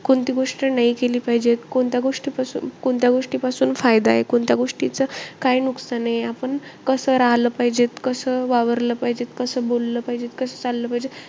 कोणती गोष्ट नाई केली पाहिजे. कोणत्या गोष्टीपासून कोणत्या गोष्टीपासून फायदा आहे. कोणत्या गोष्टीचं काय नुकसान आहे. आपण कसं राहलं पाहिजे, कसं वावरलं पाहिजेत, कसं बोललं पाहिजेत, कसं चाललं पाहिजेत.